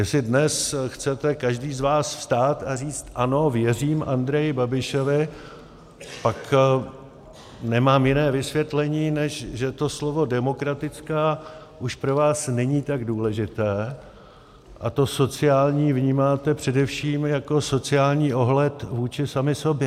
Jestli dnes chcete každý z vás vstát a říct ano, věřím Andreji Babišovi, pak nemám jiné vysvětlení, než že to slovo demokratická už pro vás není tak důležité a to sociální vnímáte především jako sociální ohled vůči sami sobě.